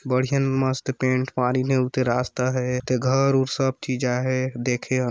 बढ़िएन मस्त पेंट मरीन हे ऊथे रास्ता हे ते घर उर सब ठी जाय हे देखे--।